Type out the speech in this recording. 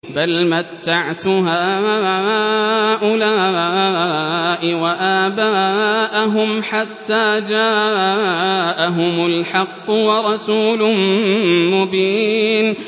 بَلْ مَتَّعْتُ هَٰؤُلَاءِ وَآبَاءَهُمْ حَتَّىٰ جَاءَهُمُ الْحَقُّ وَرَسُولٌ مُّبِينٌ